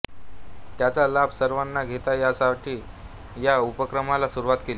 त्याचा लाभ सर्वांना घेता यावा यासाठी या उपक्रमाला सुरुवात केली